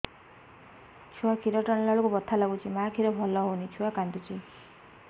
ଛୁଆ ଖିର ଟାଣିଲା ବେଳକୁ ବଥା ଲାଗୁଚି ମା ଖିର ଭଲ ହଉନି ଛୁଆ କାନ୍ଦୁଚି